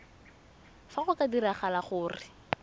fa go ka diragala gore